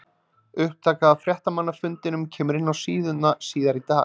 Upptaka af fréttamannafundinum kemur inn á síðuna síðar í dag.